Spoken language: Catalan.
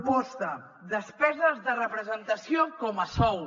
proposta despeses de representació com a sou